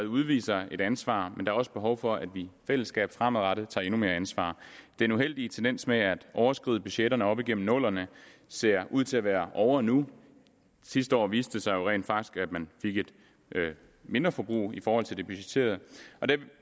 udviser et ansvar men der er også behov for at vi i fællesskab fremadrettet tager endnu mere ansvar den uheldige tendens med at overskride budgetterne op igennem nullerne ser ud til at være ovre nu sidste år viste det sig rent faktisk at man fik et mindre forbrug i forhold til det budgetterede der